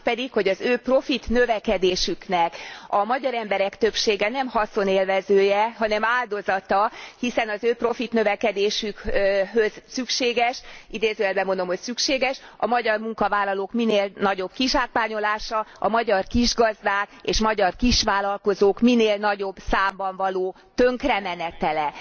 A másik pedig, hogy az ő profitnövekedésüknek a magyar emberek többsége nem haszonélvezője, hanem áldozata, hiszen az ő profitnövekedésükhöz szükséges, idézőjelben mondom, hogy szükséges, a magyar munkavállalók minél nagyobb kizsákmányolása, a magyar kisgazdák és magyar kisvállalkozók minél nagyobb számban való tönkremenetele.